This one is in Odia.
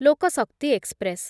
ଲୋକ ଶକ୍ତି ଏକ୍ସପ୍ରେସ୍